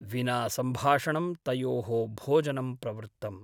विना सम्भाषणं तयोः भोजनं प्रवृत्तम् ।